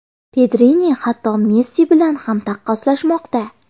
Pedrini hatto Messi bilan ham taqqoslashmoqda!